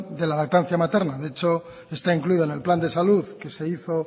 de la lactancia materna de hecho está incluido en el plan de salud que se hizo